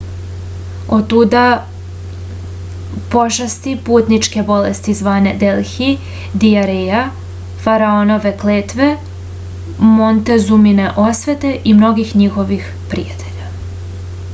otuda pošasti putničke bolesti zvane delhi dijareja faraonove kletve montezumine osvete i mnogih njihovih prijatelja